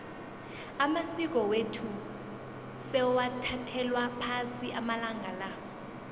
amasiko wethu sewathathelwa phasi amalanga la